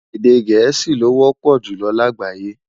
Èdè gèésì ló wọpọ julọ lágbayé